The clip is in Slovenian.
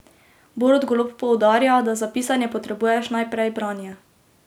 Borut Golob poudarja, da za pisanje potrebuješ najprej branje.